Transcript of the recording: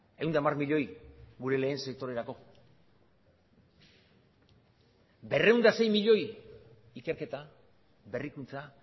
ehun eta hamar milioi gure lehen sektorerako berrehun eta sei milioi ikerketa berrikuntza